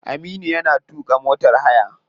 Aminu yana tuka motar haya.